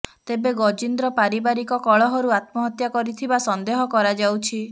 ତେବେ ଗଜିନ୍ଦ୍ର ପାରିବାରିକ କଳହରୁ ଆତ୍ମହତ୍ୟା କରିଥିବା ସନ୍ଦେହ କରାଯାଉଛି